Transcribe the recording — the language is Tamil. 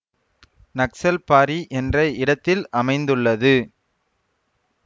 நக்சல்பாரி என்ற இடத்தில் அமைந்துள்ளது